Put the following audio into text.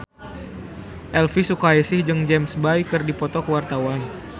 Elvi Sukaesih jeung James Bay keur dipoto ku wartawan